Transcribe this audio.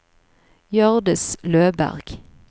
Hjørdis Løberg